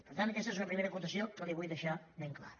per tant aquesta és una primera acotació que li vull deixar ben clara